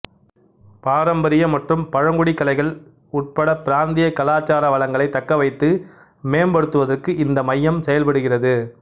பாரம்பரிய மற்றும் பழங்குடி கலைகள் உட்படப் பிராந்திய கலாச்சார வளங்களைத் தக்கவைத்து மேம்படுத்துவதற்கு இந்த மையம் செயல்படுகிறது